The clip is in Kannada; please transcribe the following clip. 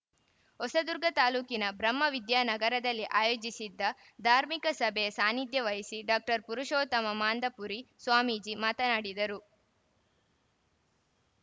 ಹೊಸದುರ್ಗ ತಾಲೂಕಿನ ಬ್ರಹ್ಮವಿದ್ಯಾನಗರದಲ್ಲಿ ಆಯೋಜಿಸಿದ್ದ ಧಾರ್ಮಿಕ ಸಭೆಯ ಸಾನ್ನಿಧ್ಯ ವಹಿಸಿ ಡಾಕ್ಟರ್ ಪುರುಷೋತ್ತಮಾನಂದಪುರಿ ಸ್ವಾಮೀಜಿ ಮಾತನಾಡಿದರು